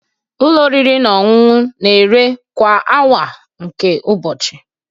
Ụlọ oriri na ọṅụṅụ na-ere kwa awa nke ụbọchị